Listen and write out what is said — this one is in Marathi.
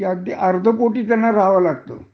हे अगदी अर्ध पोट सुद्धा त्यांना रहाव लागत